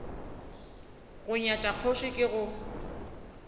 go nyatša kgoši ke go